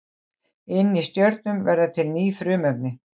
inni í stjörnum verða til ný frumefni